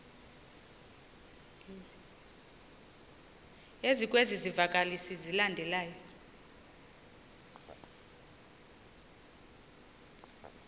ezikwezi zivakalisi zilandelayo